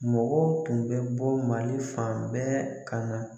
Mɔgɔw tun bɛ bɔ Mali fan bɛɛ ka na